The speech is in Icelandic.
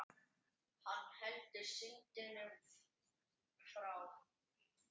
Hann heldur synd unum frá.